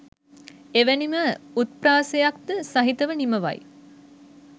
එවැනිම උත්ප්‍රාසයක්ද සහිතව නිමවයි.